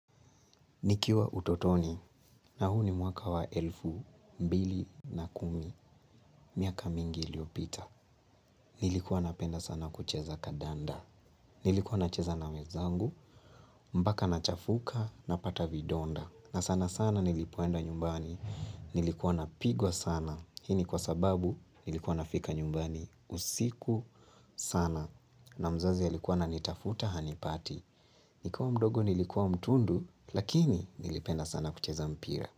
Nikiwa utotoni na huu ni mwaka wa elfu mbili na kumi, miaka mingi iliyopita. Nilikuwa napenda sana kucheza kadanda. Nilikuwa nacheza na wezangu, mbaka nachafuka, napata vidonda. Na sana sana nilipoenda nyumbani. Nilikuwa napigwa sana. Hii ni kwa sababu nilikuwa nafika nyumbani usiku sana. Na mzazi alikuwa ananitafuta hanipati. Nikuwa mdogo nilikuwa mtundu, lakini nilipenda sana kucheza mpira.